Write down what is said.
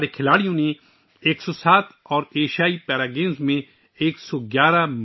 ہمارے کھلاڑیوں نے ایشین گیمز میں 107 اور ایشین پیرا گیمز میں 111 میڈلز جیتے ہیں